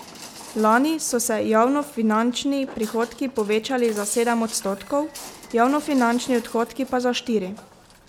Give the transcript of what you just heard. Lani so se javnofinančni prihodki povečali za sedem odstotkov, javnofinančni odhodki pa za štiri.